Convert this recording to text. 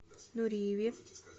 нуриеве